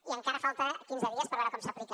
i encara falten quinze dies per veure com s’aplica